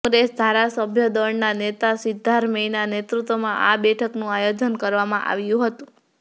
કોંગ્રેસ ધારાસભ્ય દળના નેતા સિદ્ધારમૈયાના નેતૃત્વમાં આ બેઠકનું આયોજન કરવામાં આવ્યું હતું